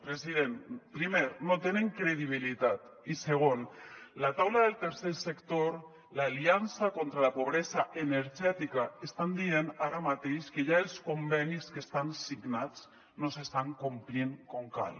president primer no tenen credibilitat i segon la taula del tercer sector l’aliança contra la pobresa energètica estan dient ara mateix que ja els convenis que estan signats no s’estan complint com cal